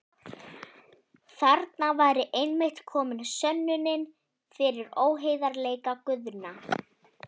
Þarna væri einmitt komin sönnunin fyrir óheiðarleika Guðna.